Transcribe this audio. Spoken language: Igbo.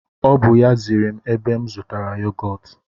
O bụ ya ziri m ebe m zụtara yogọtu